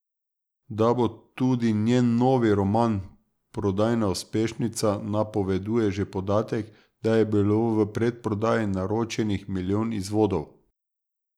Da bo tudi njen novi roman prodajna uspešnica, napoveduje že podatek, da je bilo v predprodaji naročenih milijon izvodov.